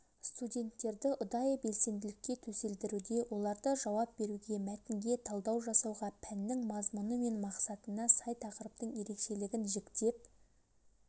студенттерді ұдайы белсенділікке төселдіруде оларды жауап беруге мәтінге талдау жасауға пәннің мазмұны мен мақсатына сай тақырыптың ерекшелігін жіктеп